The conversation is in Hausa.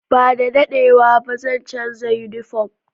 Ba da daɗewa ba, zan canza yunifom.